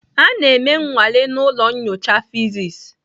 A na-eme nnwale na ụlọ nyocha fịsis.